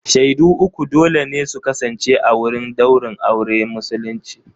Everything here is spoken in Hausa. Shaidu uku dole ne su kasance a wurin ɗaurin auren musulunci.